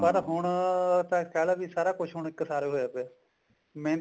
ਪਰ ਹੁਣ ਤਾਂ ਕਿਹ ਲੋ ਵੀ ਸਾਰਾ ਕੁੱਝ ਇੱਕ ਸਾਰ ਹੋਇਆ ਪਿਆ ਮਿਹਨਤਾਂ